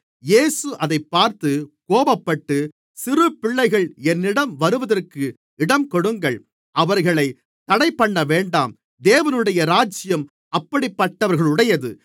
இயேசு அதைப் பார்த்து கோபப்பட்டு சிறு பிள்ளைகள் என்னிடம் வருகிறதற்கு இடம்கொடுங்கள் அவர்களைத் தடைப்பண்ணவேண்டாம் தேவனுடைய ராஜ்யம் அப்படிப்பட்டவர்களுடையது